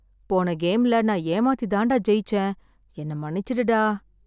போன கேம்ல நான் ஏமாத்தி தான் டா ஜெயிச்சேன். என்ன மன்னிச்சிடு டா.